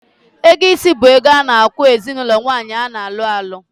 Ego isi bu ego a na-akwu ezinaulo nwaanyi a na-alu alu